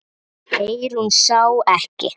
Eyrún sá ekki.